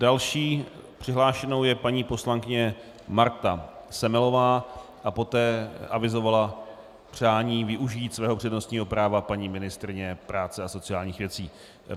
Další přihlášenou je paní poslankyně Marta Semelová a poté avizovala přání využít svého přednostního práva paní ministryně práce a sociálních věcí.